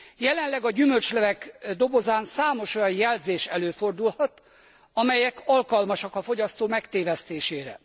Jelenleg a gyümölcslevek dobozán számos olyan jelzés előfordulhat, amelyek alkalmasak a fogyasztó megtévesztésére.